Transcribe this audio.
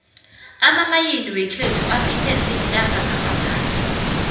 amamayini wekhethu aphethwe ziinarha zangaphandle